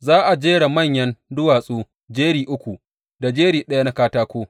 Za a jera manyan duwatsu jeri uku, da jeri ɗaya na katako.